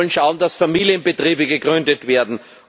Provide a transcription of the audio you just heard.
Wir sollen schauen, dass Familienbetriebe gegründet werden.